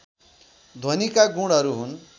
ध्वनिका गुणहरू हुन्